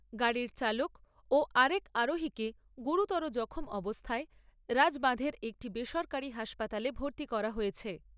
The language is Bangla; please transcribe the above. গাড়ির চালক ও আর এক আরোহীকে গুরুতর জখম অবস্থায় রাজবাঁধের একটি বেসরকারি হাসপাতালে ভর্তি করা হয়েছে।